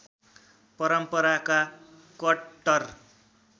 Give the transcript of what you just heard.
परम्पराका कट्टर